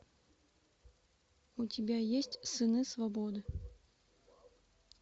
у тебя есть сыны свободы